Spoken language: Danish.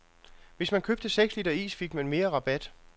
Hvis man købte seks liter is, fik man mere rabat.